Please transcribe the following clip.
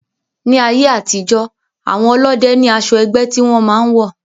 Ní ayé àtijó, àwọn ọlọ́dẹ ní asọ ẹgbẹ́ tí wọn máa ń wọ̀